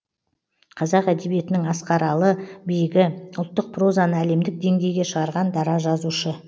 қазақ әдебиетінің асқаралы биігі ұлттық прозаны әлемдік деңгейге шығарған дара жазушы